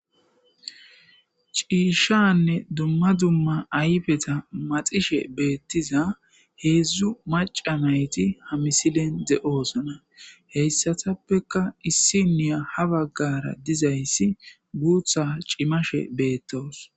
ciishanne dumma dumma ayfeta maxishe beettiza heedzdzu maca nayti ha misilen de7oosna heyssatappeka issi niya ha baggara dizayssi guutha cimashe beettoos